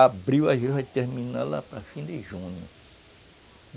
Abril às vezes vai terminar lá para o final de junho.